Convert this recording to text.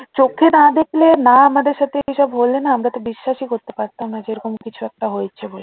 চোখে তারা দেখলো না আমাদের সাথে এসব হলে না আমরা তো বিশ্বাসই করতে পারতাম না যে এইরকম কিছু একটা হয়েছে বলে